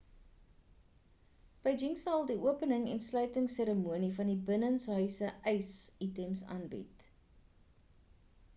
beijing sal die opening en sluitings seremonies van die binnenshuise ys items aanbied